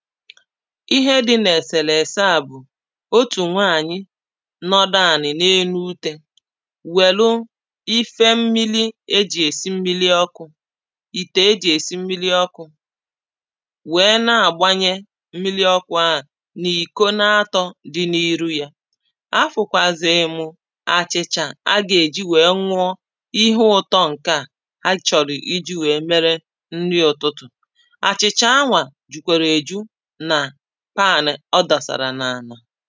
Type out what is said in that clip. ihẹ dị̀ n’èsèrèsè à bụ̀ otù nwaànyị nọdụ ànị̀ n’enu utė wèlu ihi mmiri ejì èsi mmiri ọkụ̇ ìtè e jì èsi mmiri ọkụ̇ wèe na-àgbanyẹ mmiri ọkụ ahụ n’ìko na atọ̇ dị n’iru ya. afụ̀kwàzụ̀ ịmụ̇ àchị̀chà a gà èji wèe ṅụọ ihe ụtọ ǹkẹ̀ à a chọ̀rọ̀ iji̇ wèe mere nri ụtụtụ̀ àchị̀chà anwà jukwara eju na pan ọ dọsàrà n’àla